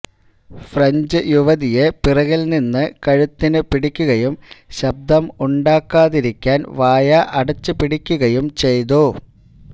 French യുവതിയെ പിറകില് നിന്നും കഴുത്തിന് പിടിക്കുകയും ശബ്ദം ഉണ്ടാക്കാതിരിക്കാന് വായ അടച്ചു പിടിക്കുകയും ചെയ്തു